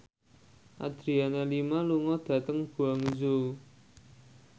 Adriana Lima lunga dhateng Guangzhou